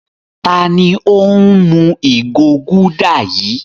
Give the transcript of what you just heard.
Ta ni ó ń mu ìgò Gulder yìí?